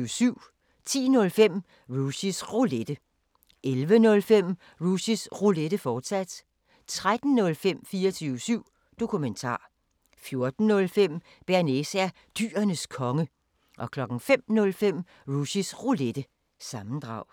10:05: Rushys Roulette 11:05: Rushys Roulette, fortsat 13:05: 24syv Dokumentar 14:05: Bearnaise er Dyrenes Konge 05:05: Rushys Roulette – sammendrag